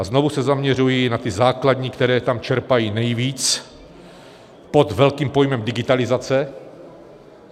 A znovu se zaměřuji na ty základní, které tam čerpají nejvíc pod velkým pojmem digitalizace.